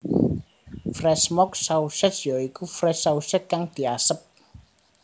Fresh Smoke Sausage ya iku Fresh Sausage kang diasep